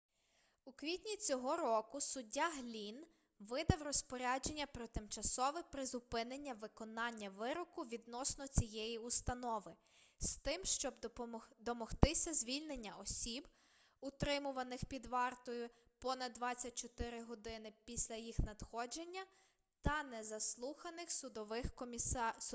у квітні цього року суддя глінн видав розпорядження про тимчасове призупинення виконання вироку відносно цієї установи з тим щоб домогтися звільнення осіб утримуваних під вартою понад 24 годин після їх надходження та не заслуханих судовим комісаром